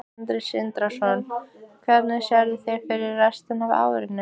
Sindri Sindrason: Hvernig sérðu fyrir þér restina af árinu?